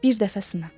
Bir dəfəsinə.